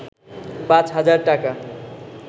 ৫ হাজার টাকা